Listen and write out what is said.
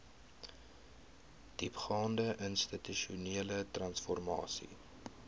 diepgaande institusionele transformasie